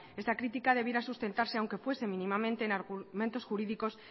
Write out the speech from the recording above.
esta crítica debiera sustentarse aunque fuese mínimamente en argumentos jurídicos